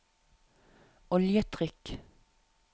oljetrykk